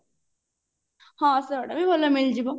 ହଁ ସେଇଗୁଡା ବି ଭଲ ମିଳିଯିବ